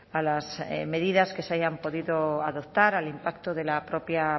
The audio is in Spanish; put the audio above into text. a las medidas que se hayan podido adoptar al impacto de la propia